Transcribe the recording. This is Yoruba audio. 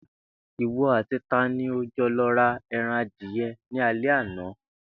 Ìwo àti ta ni ó jo̩ lo̩ ra e̩ran adìye̩ ní alé̩ àná?